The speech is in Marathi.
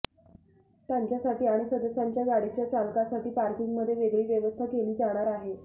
त्यांच्यासाठी आणि सदस्यांच्या गाडीच्या चालकासाठी पार्किंगमध्ये वेगळी व्यवस्था केली जाणार आहे